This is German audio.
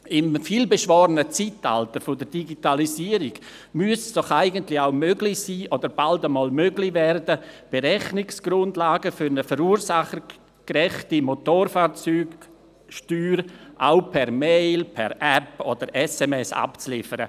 Im vielbeschworenen Zeitalter der Digitalisierung müsste es auch möglich sein oder bald einmal möglich werden, Berechnungsgrundlagen für eine verursachergerechte Motorfahrzeugsteuer auch per Mail, App oder SMS abzuliefern.